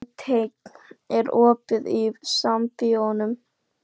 Beinteinn, er opið í Sambíóunum?